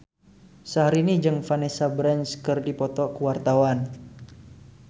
Syahrini jeung Vanessa Branch keur dipoto ku wartawan